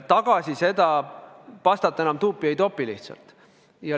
Tagasi seda pastat enam tuubi lihtsalt ei topi.